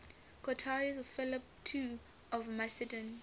courtiers of philip ii of macedon